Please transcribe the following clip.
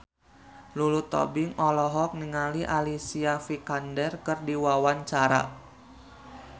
Lulu Tobing olohok ningali Alicia Vikander keur diwawancara